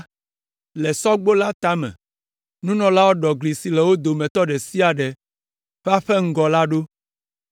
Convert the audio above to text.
Le Sɔgbo la tame, nunɔlawo ɖɔ gli si le wo dometɔ ɖe sia ɖe ƒe aƒe ŋgɔ la ɖo.